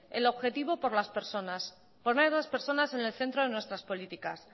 el objetivo por las personas poner a las personas en el centro de nuestras políticas